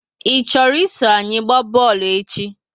I chọrọ iso anyi gba boolu echi?